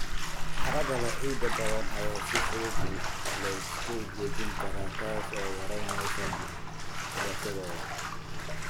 Carrada leh ciid badan ayaa si fudud loo isku dhejin karaa, taas oo yaraynaysa dhalashadooda.